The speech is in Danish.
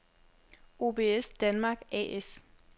OBS Danmark A/S